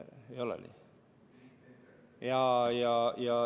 Ei ole või?